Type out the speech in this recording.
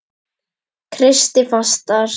Kreisti fastar.